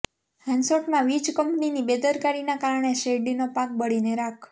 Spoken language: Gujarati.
હાંસોટમાં વીજ કંપનીની બેદરકારીના કારણે શેરડીનો પાક બળીને ખાખ